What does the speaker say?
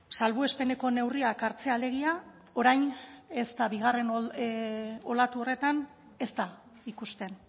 salbuespeneko neurriak hartzea alegia orain ez da bigarren olatu horretan ez da ikusten